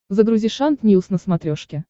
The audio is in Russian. загрузи шант ньюс на смотрешке